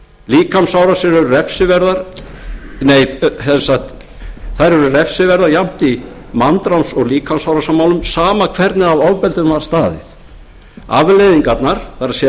sönnun en ekki verknaðaraðferð þær eru refsiverðar jafnt í manndráps og líkamsárásarmálum sama hvernig að ofbeldinu var staðið afleiðingarnar það er